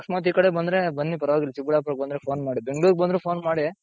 ಅಕಸ್ಮಾತ್ ಈ ಕಡೆ ಬಂದ್ರೆ ಬನ್ನಿ ಪರವಾಗಿಲ್ಲ ಚಿಕ್ಕಬಳ್ಳಾಪುರಕ್ಕೆ ಬಂದ್ರೆ phone ಮಾಡಿ ಬೆಂಗಳೂರ್ ಗೆ ಬಂದ್ರೆ phone ಮಾಡಿ